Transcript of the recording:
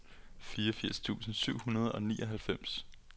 fireogfirs tusind syv hundrede og nioghalvfems